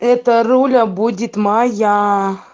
это руля будет моя